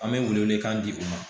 An bɛ welewelekan di u ma